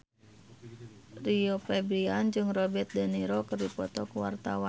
Rio Febrian jeung Robert de Niro keur dipoto ku wartawan